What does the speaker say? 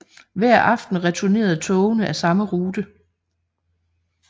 Hver aften returnerede togene af samme rute